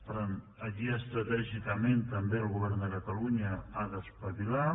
per tant aquí estratègica·ment també el govern de catalunya s’ha d’espavilar